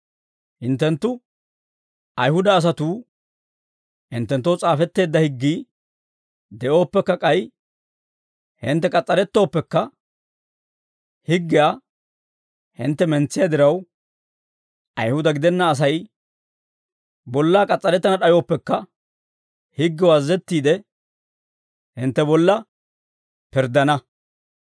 Hinttenttu, Ayihuda asatuu, hinttenttoo s'aafetteedda higgii de'ooppekka k'ay hintte k'as's'arettooppekka, higgiyaa hintte mentsiyaa diraw, Ayihuda gidenna Asay bollaa k'as's'arettana d'ayooppekka, higgew azazettiide, hintte bolla pirddana.